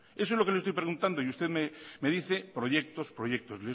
eso es lo que le estoy preguntado y usted me dice proyectos proyectos